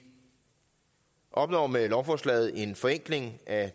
opnår med lovforslaget en forenkling af